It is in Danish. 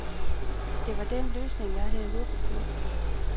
Det var den løsning, jeg havde håbet på.